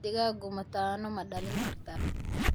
digaagu mataano ma dhalin kartaa?